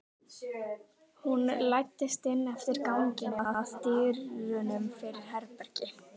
Hún læddist inn eftir ganginum, að dyrunum fyrir herbergi